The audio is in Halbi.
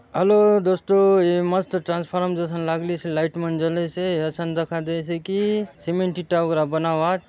हलो दोस्तों ये मस्त ट्रांसफॉर्मर जइसन लागलीसे लाइट मन जले से असन दखा देयसे की सीमेंट ईटा वगेरा बना उआत।